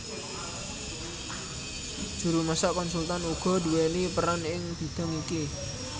Juru masak konsultan uga nduwèni peran ing bidhang iki